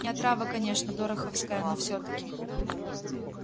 не отрава конечно дороховская но всё-таки